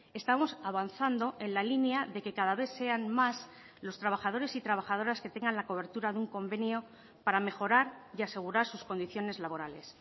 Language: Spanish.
estamos avanzando en la línea de que cada vez sean más los trabajadores y trabajadoras que tengan la cobertura de un convenio para mejorar y asegurar sus condiciones laborales